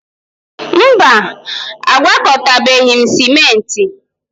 Mba, agwakọtabeghị m ciment